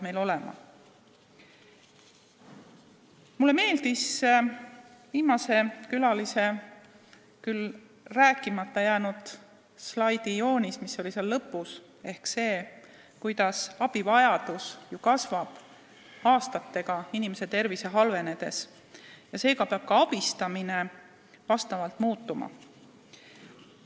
Mulle meeldis viimase külalise küll tutvustamata jäänud slaid selle kohta, kuidas abivajadus inimeste tervise halvenedes aastatega kasvab, seega peab ka abistamine muutuma.